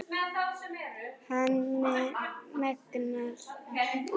Hann megnar allt.